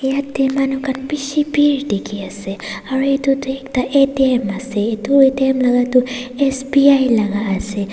Yatheh manu khan beshi bheer dekhe ase aro etu tuh ekta atm ase etu atm laga tuh SBI laga ase.